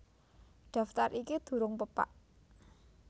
Daftar iki durung pepak